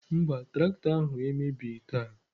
Mba, traktọ ahụ emebighị taa.